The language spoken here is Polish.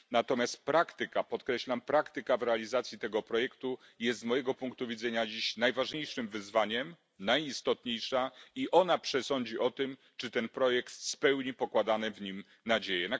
Natomiast praktyka podkreślam praktyka w realizacji tego projektu jest dziś, z mojego punktu widzenia, najważniejszym wyzwaniem, jest najistotniejsza i ona przesądzi o tym, czy ten projekt spełni pokładane w nim nadzieje.